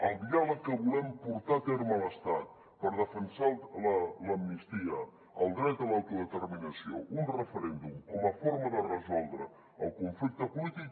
el diàleg que volem portar a terme a l’estat per defensar l’amnistia el dret a l’autodeterminació un referèndum com a forma de resoldre el conflicte polític